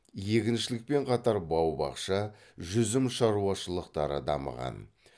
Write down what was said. егіншілікпен қатар бау бақша жүзім шаруашылықтары дамыған